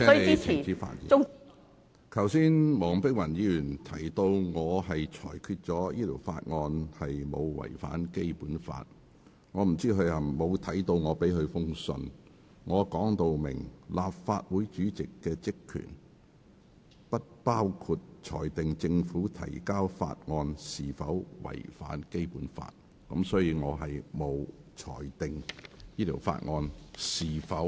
我不知道她有否看過我發給議員的信件，我在信中表明，立法會主席的職權不包括裁定政府提交的法案有否違反《基本法》。